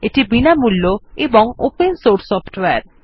এটি বিনামূল্য ও ওপেন সোর্স সফ্টওয়্যার